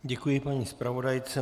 Děkuji paní zpravodajce.